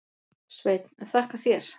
Sveinn: Þakka þér.